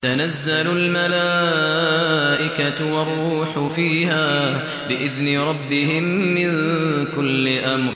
تَنَزَّلُ الْمَلَائِكَةُ وَالرُّوحُ فِيهَا بِإِذْنِ رَبِّهِم مِّن كُلِّ أَمْرٍ